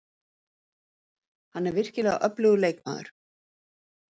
Hann er virkilega öflugur leikmaður.